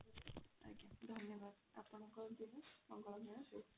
ଆଜ୍ଞା ଧନ୍ୟବାଦ ଆପଣଙ୍କର ର ଦିନ ମଙ୍ଗଳମୟ ହେଉ।